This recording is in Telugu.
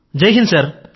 జైహింద్ సర్